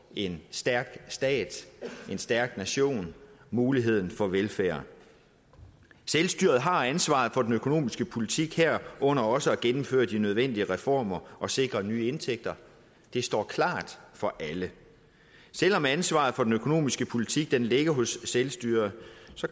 en stærk stat en stærk nation og muligheden for velfærd selvstyret har ansvaret for den økonomiske politik herunder også for at gennemføre de nødvendige reformer og sikre nye indtægter det står klart for alle selv om ansvaret for den økonomiske politik ligger hos selvstyret